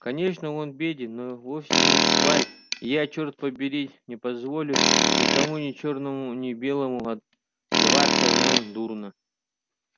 конечно он беден но вовсе не шваль и я черт побери не позволю никому ни чёрному ни белому отзываться о нем дурно